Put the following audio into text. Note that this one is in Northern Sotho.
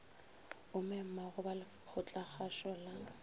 o memago ba lekgotlakgašo la